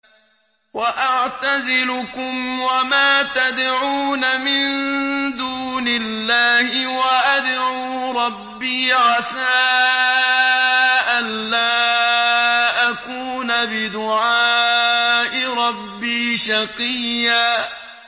وَأَعْتَزِلُكُمْ وَمَا تَدْعُونَ مِن دُونِ اللَّهِ وَأَدْعُو رَبِّي عَسَىٰ أَلَّا أَكُونَ بِدُعَاءِ رَبِّي شَقِيًّا